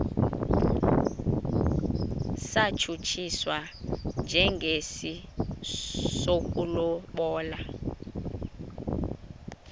satshutshiswa njengesi sokulobola